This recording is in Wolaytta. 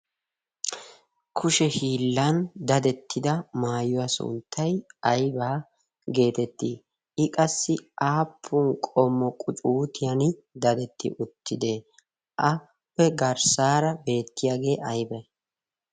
kushe hiillan dadettida maayuwaa sonttay aibaa' geetettii i qassi aappun qomo qucuutiyan dadetti uttide aapppe garssaara beettiyaagee aybay?